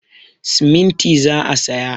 Siminti za a saya.